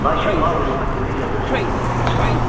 Lakin Maqli mətinliklə dözüb səsini çıxarmadı.